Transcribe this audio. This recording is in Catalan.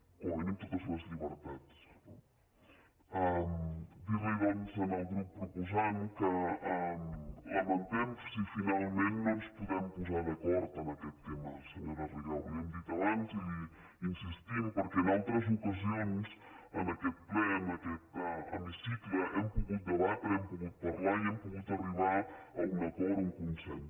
com a mínim totes les llibertats no dir·li doncs al grup proposant que ho lamentem si fi·nalment no ens podem posar d’acord en aquest tema se·nyora rigau li ho hem dit abans i hi insistim perquè en altres ocasions en aquest ple en aquest hemicicle hem pogut debatre hem pogut parlar i hem pogut arribar a un acord a un consens